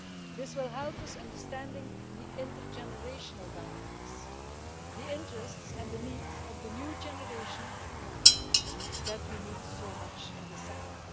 This will help us understand the intergenerational dynamics, and the interests and the needs of the new generation that we need so much in this sector.